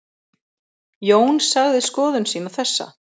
Jón sagði skoðun sína þessa: